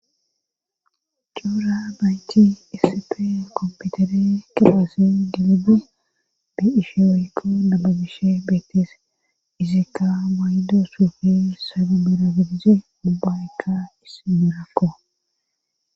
coora nayt isipe kompitere kiphassi dilidi di ishewekko nababishe beetes izikka maydo suufi sabimerabidizi ubaykka isi merakko